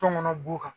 Tɔn kɔnɔ b'o kan